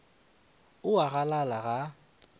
o a a galala ga